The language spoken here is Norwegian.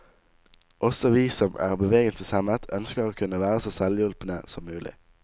Også vi som er bevegelseshemmet ønsker å kunne være så selvhjulpne som mulig.